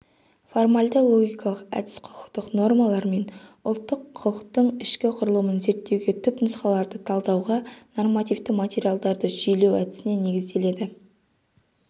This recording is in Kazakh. формальды-логикалық әдіс құқықтық нормалар мен ұлттық құқықтың ішкі құрылымын зерттеуге түпнұсқаларды талдауға нормативті материалдарды жүйелеу әдісіне негізделеді